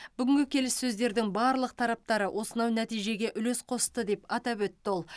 бүгінгі келіссөздердің барлық тараптары осынау нәтижеге үлес қосты деп атап өтті ол